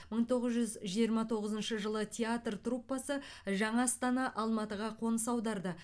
мың тоғыз жүз жиырма тоғызыншы жылы театр труппасы жаңа астана алматыға қоныс аударды